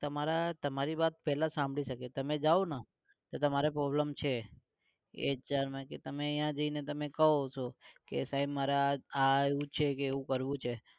તમારા તમારી વાત પેલા સાંભળી શકે તમે જાઓ ને તો તમારે problem છે એ જઈને કો છો કે સાહેબ મારે આ એવું છે કે એવું કરવું છે